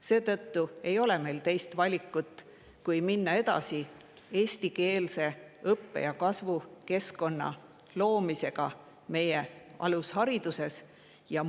Seetõttu ei ole meil teist valikut, kui minna edasi eestikeelse õppe- ja kasvukeskkonna loomisega alusharidus.